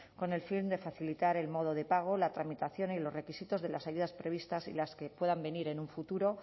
con el fin de facilitar el modo de pago la tramitación y los requisitos de las ayudas previstas y las que puedan venir en un futuro